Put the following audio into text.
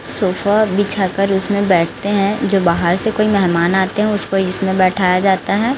Sofa बिचाकर उसमें बैठते हैं जो बाहर से कोई मेहमान आते हैं उसको इसमें बैठाया जाता हैं।